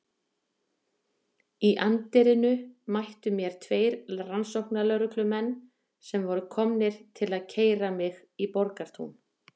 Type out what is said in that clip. Í anddyrinu mættu mér tveir rannsóknarlögreglumenn sem voru komnir til að keyra mig í Borgartún.